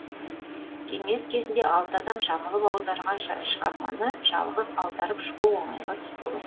кеңес кезінде алты адам жабылып аударған шығарманы жалғыз аударып шығу оңайға түспеген